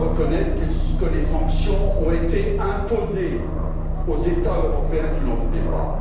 Ils reconnaissent également que les sanctions ont été imposées aux États européens, qui n'en voulaient pas.